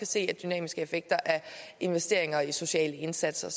se dynamiske effekter af investeringer i sociale indsatser